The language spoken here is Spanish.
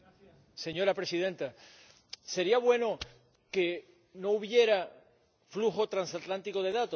Señora Presidenta, ¿sería bueno que no hubiera flujo transatlántico de datos?